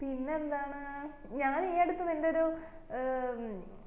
പിന്നെ എന്താണ് ഞാൻ ഈ ഇടക്ക് നിന്റെ ഒരു ഏർ